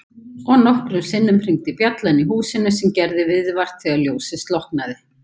Og nokkrum sinnum hringdi bjallan í húsinu sem gerði viðvart þegar ljósið slokknaði.